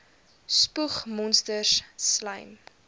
spoeg monsters slym